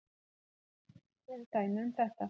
moldvörpur eru dæmi um þetta